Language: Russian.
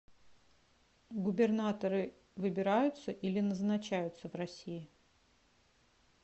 губернаторы выбираются или назначаются в россии